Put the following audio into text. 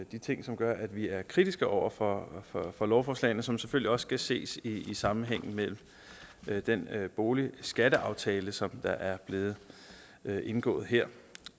de ting som gør at vi er kritiske over for for lovforslagene som selvfølgelig også skal ses i sammenhæng med den boligskatteaftale som er blevet indgået her